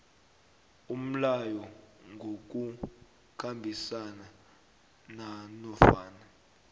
umlayo ngokukhambisana nanofana